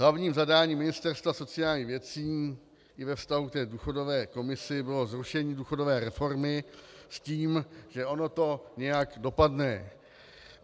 Hlavním zadáním Ministerstva sociálních věcí i ve vztahu k důchodové komisi bylo zrušení důchodové reformy s tím, že ono to nějak dopadne.